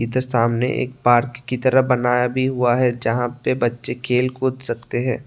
इधर सामने एक पार्क की तरह बनाया भी हुआ है जहां पे बच्चे खेल कूद सकते हैं।